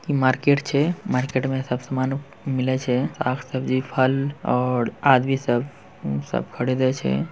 इ मार्केट छै मार्केट में सब समान मिले छै साग सब्जी फल और आदमी सब सब खड़े दए छै।